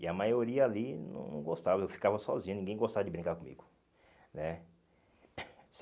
E a maioria ali não não gostava, eu ficava sozinho, ninguém gostava de brincar comigo, né?